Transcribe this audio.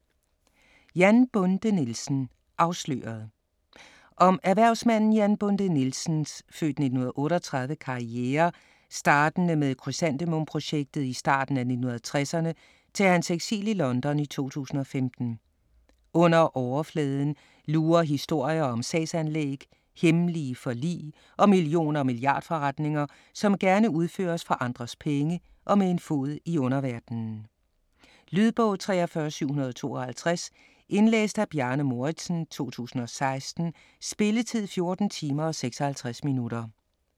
Jan Bonde Nielsen - afsløret Om erhvervsmanden Jan Bonde Nielsens (f. 1938) karriere startende med krysantemum-projektet i starten af 1960'erne til hans eksil i London i 2015. Under overfladen lurer historier om sagsanlæg, hemmelige forlig og million- og milliardforretninger, som gerne udføres for andres penge og med en fod i en underverden. Lydbog 43752 Indlæst af Bjarne Mouridsen, 2016. Spilletid: 14 timer, 56 minutter.